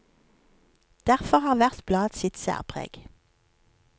Derfor har hvert blad sitt særpreg.